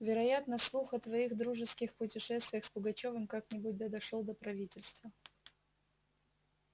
вероятно слух о твоих дружеских путешествиях с пугачёвым как-нибудь да дошёл до правительства